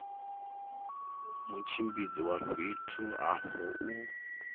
mutshimbidzi wa fhethu afho u